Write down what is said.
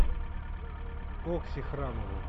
окси храмову